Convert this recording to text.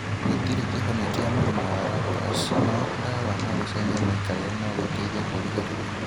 Gũtirĩ kĩhonia kĩa mũrimũ wa lupus no dawa na gũcejia mĩikarĩre no gũteithie kũrĩgĩrĩria.